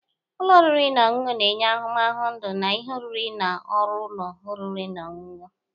Ụlọ oriri na ọṅụṅụ na-enye ahụmahụ ndụ na ihe oriri na ọrụ ụlọ oriri na ọṅụṅụ.